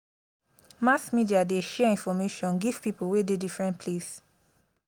mass media dey share info give pipo wey dey differen place.